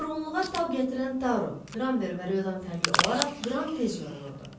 Yorğunluğa tab gətirən Taru, Dramber və Rödən fərqli olaraq qran tez yorulurdu.